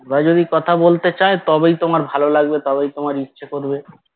ওরা যদি কথা বলতে চায় তবেই তোমার ভালো লাগবে তবেই তোমার ইচ্ছে করবে